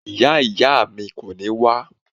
Ìyá ìyá mi kò ní wá